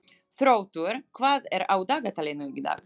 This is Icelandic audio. Þróttur, hvað er á dagatalinu í dag?